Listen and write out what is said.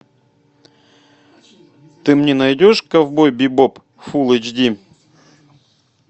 ты мне найдешь ковбой бибоп фул эйч ди